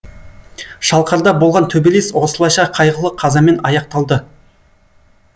шалқарда болған төбелес осылайша қайғылы қазамен аяқталды